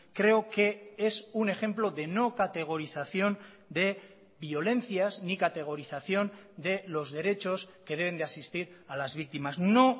creo que es un ejemplo de no categorización de violencias ni categorización de los derechos que deben de asistir a las víctimas no